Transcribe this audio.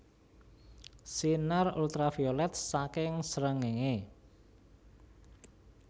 Sinar Ultraviolet saking srengéngé